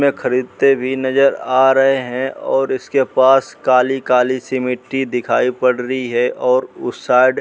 इसमें खरीदते भी नजर आ रहे हैं और इसके पास काली-काली सी मिट्टी दिखाई पड़ रही है और उस साइड --